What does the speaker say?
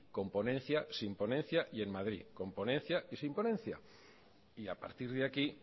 con ponencia sin ponencia y en madrid con ponencia y sin ponencia y a partir de aquí